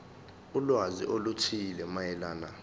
ulwazi oluthile mayelana